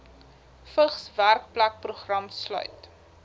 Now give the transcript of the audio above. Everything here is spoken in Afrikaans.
vigs werkplekprogram sluit